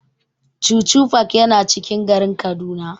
Chuchu park yana cikin garin Kaduna.